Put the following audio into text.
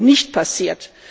nicht passiert.